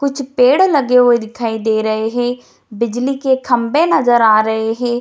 कुछ पेड़ लगे हुए दिखाई दे रहे हैं बिजली के खम्बे नजर आ रहे हैं।